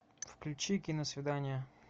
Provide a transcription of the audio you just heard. включи киносвидание